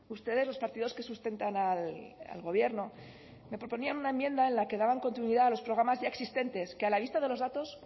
ustedes los partidos que sustentan al gobierno me proponían una enmienda en la que daban continuidad a los programas ya existentes que a la vista de los datos